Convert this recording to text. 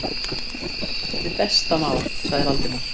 Hið besta mál- sagði Valdimar.